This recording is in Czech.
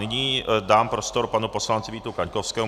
Nyní dám prostor panu poslanci Vítu Kaňkovskému.